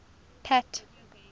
pat